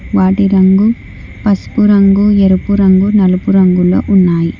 వాటి రంగు పసుపు రంగు ఎరుపు రంగు నలుపు రంగులో ఉన్నాయి.